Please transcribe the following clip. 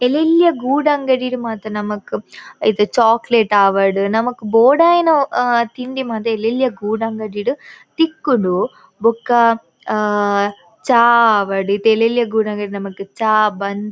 ಎಲ್ಯೆಲ್ಲ ಗೂಡಂಗಡಿಡ್ ಮಾತ ನಮಕ್ ಇತ್ತೆ ಚೋಕ್ಲೇಟ್ ಆವಡ್ ನಮಕ್ ಬೋಡಾಯ್ನ ಆ ತಿಂಡಿ ಮಾತ ಎಲ್ಯೆಲ್ಲ ಗೂಡಂಗಡಿಡ್ ತಿಕ್ಕುಂಡು ಬೊಕ್ಕ ಆ ಚಾ ಆವಡ್ ಇತ್ತೆ ಎಲ್ಯೆಲ್ಲ ಗೂಡಂಗಡಿಡ್ ನಮಕ್ ಚಾ ಬನ್ಸ್ --